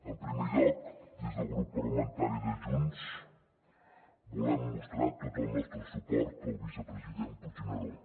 en primer lloc des del grup parlamentari de junts volem mostrar tot el nostre suport al vicepresident puigneró